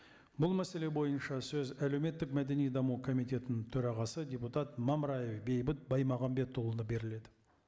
бұл мәселе бойынша сөз әлеуметтік мәдени даму комитетінің төрағасы депутат мамраев бейбіт баймағамбетұлына беріледі